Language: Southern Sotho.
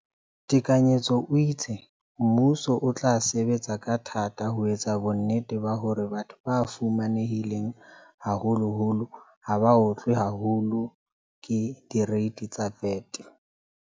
Tekanyetso o itse, mmuso o tla sebetsa ka thata ho etsa bonnete ba hore batho ba fumanehileng haholoholo ha ba otlwe haholo ke direiti tsa VAT.